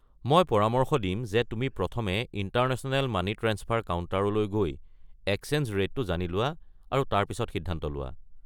মই পৰামৰ্শ দিম যে তুমি প্ৰথমে ইণ্টাৰনেশ্যনেল মানি ট্ৰাঞ্চফাৰ কাউণ্টাৰলৈ গৈ এক্সচেঞ্জ ৰে'টটো জানি লোৱা আৰু তাৰ পিছত সিদ্ধান্ত লোৱা।